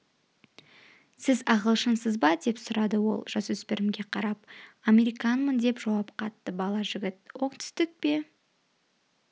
сіз ағылшынсыз ба деп сұрады ол жасөспірімге қарап американмын деп жауап қатты бала жігіт оңтүстік пе